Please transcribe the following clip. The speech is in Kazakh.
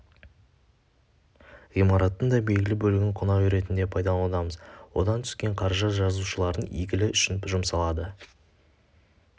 ғимараттың да белгілі бөлігін қонақ үй ретінде пайдаланудамыз одан түсен қаржы да жазушылардың игілі үшін жұмсалады